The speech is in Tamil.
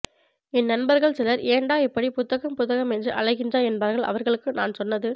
என் நண்பர்கள் சிலர் ஏண்டா இப்படி புத்தகம் புத்தகம் என்று அலைகின்றாய் என்பார்கள் அவர்களுக்கு நான் சொன்னது